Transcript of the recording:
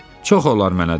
Çox olar mənə dedi.